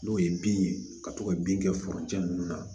N'o ye bin ye ka to ka bin kɛ ninnu na